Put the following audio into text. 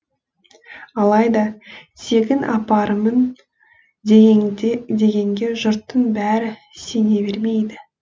алайда тегін апарамын дегенге жұрттың бәрі сене бермейді